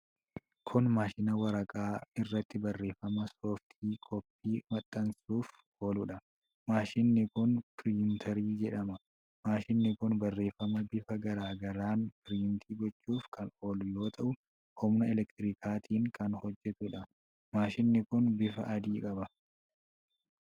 Kun maashina waraqaa irratti barreeffama sooftikoppii maxxansuuf ooludha. Maashinni kun piriintarii jedhama. Maashinni kun Barreefama bifa garaa garaan piriinti gochuuf kan oolu yoo ta'u, humna elektirikaatiin kan hojjatuudha. Maashinni kun bifa adii qaba.